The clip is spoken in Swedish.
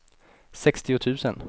sextio tusen